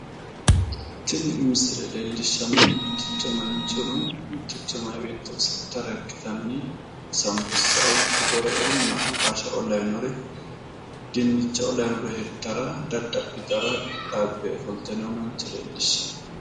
Tini misile leellshshsannohu mitticho manchono mitticho meya beetto oso'litara ikkitanni asaanbussa qoqqoreoonna ambaashshaoo lawinore, dinnicha lawinore hirtara qixxaabbe ofolte noo mancho leellishshanno.